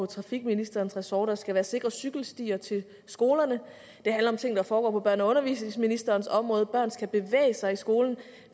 trafikministerens ressort for der skal være sikre cykelstier til skolerne det handler om ting der foregår på børne og undervisningsministerens område for børn skal bevæge sig i skolen